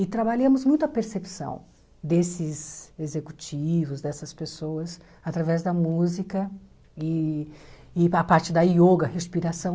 E trabalhamos muito a percepção desses executivos, dessas pessoas, através da música e e a parte da yoga, respiração.